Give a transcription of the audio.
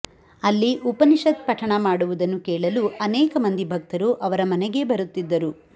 ಅಲ್ಲಿ ಉಪನಿಷತ್ ಪಠಣ ಮಾಡುವುದನ್ನು ಕೇಳಲು ಅನೇಕ ಮಂದಿ ಭಕ್ತರು ಅವರ ಮನೆಗೇ ಬರುತ್ತಿದ್ದರು